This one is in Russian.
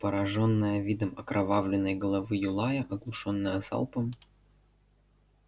поражённая видом окровавленной головы юлая оглушённая залпом